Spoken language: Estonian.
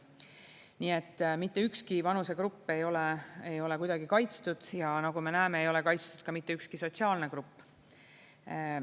Nii et mitte ükski vanusegrupp ei ole kuidagi kaitstud ja nagu me näeme, ei ole kaitstud ka mitte ükski sotsiaalne grupp.